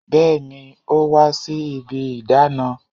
Bẹẹni, ó wá sí ibi ìdáná